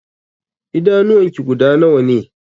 Idanuwan ki guda nawa ne?